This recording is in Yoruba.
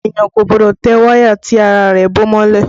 Ènìyàn kò gbọ́dọ̀ tẹ wáyà tí ara rẹ̀ bó mọ́lẹ̀